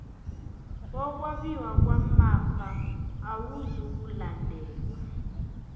wokwabiwa kwamafa awuzukulandelwa